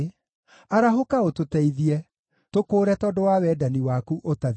Arahũka ũtũteithie; tũkũũre tondũ wa wendani waku ũtathiraga.